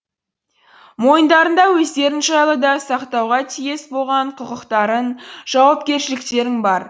мойындарыңда өздерің жайлы да сақтауға тиіс болған құқықтарың жауапкершіліктерің бар